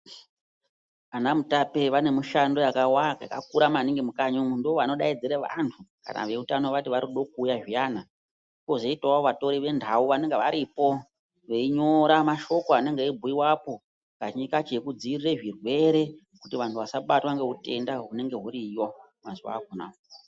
Vana mutape vane mishando yakakura maningi mukati numu ndovanodaidza vantu varinkuda zviyani vozoita vantu veshe Kutora mashoko anenge eibhuyikapo nekudziviridra zvitenda zvinenge zviriyo mazuva apera.